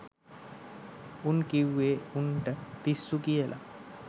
උන් කිව්වේ උන්ට පිස්සු කියල